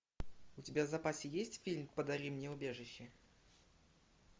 у тебя в запасе есть фильм подари мне убежище